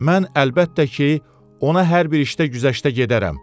Mən, əlbəttə ki, ona hər bir işdə güzəştə gedərəm.